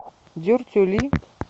дюртюли